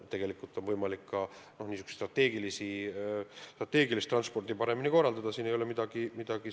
Raudteel on võimalik strateegilist transporti paremini korraldada, siin ei ole midagi eitada.